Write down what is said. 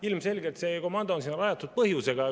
Ilmselgelt on see komando sinna rajatud põhjusega.